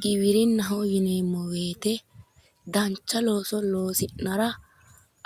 Giwirinnaho yineemmo woyiite dancha looso loosi'nara